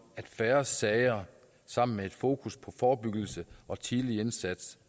at færre sager sammen med fokus på forebyggelse og tidlig indsats